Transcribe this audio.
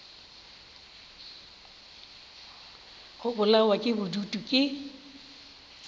go bolawa ke bodutu ke